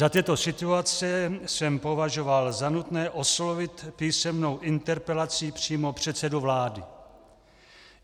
Za této situace jsem považoval za nutné oslovit písemnou interpelací přímo předsedu vlády.